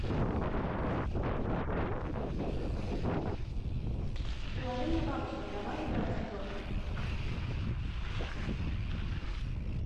приложение бабочка давай играть в